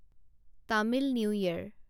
Tamil new ইয়াৰ